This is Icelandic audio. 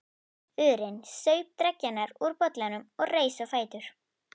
urinn, saup dreggjarnar úr bollanum og reis á fætur.